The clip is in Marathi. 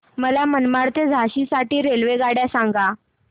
मला मनमाड ते झाशी साठी रेल्वेगाड्या सांगा